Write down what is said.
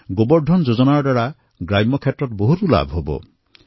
গোবৰ ধন যোজনাৰ দ্বাৰা গ্ৰামীণ ক্ষেত্ৰসমূহ উপকৃত হব